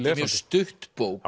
er mjög stutt bók